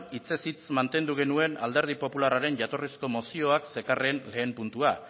hitzez hitz mantendu genuen alderdi popularraren jatorrizko mozioak zekarren lehen puntua